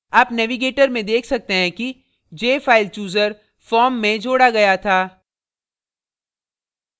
आप navigator में देख सकते हैं कि jfilechooser form में जोड़ा गया था